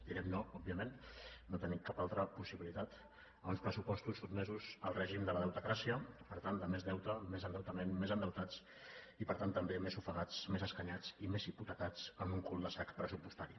direm no òbviament no tenim cap altra possibilitat a uns pressupostos sotmesos al règim de la deutecràcia per tant de més deute més endeutament més endeutats i per tant també més ofegats més escanyats i més hipotecats en un cul de sac pressupostari